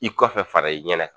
I kɔfɛ fara i ɲɛnɛ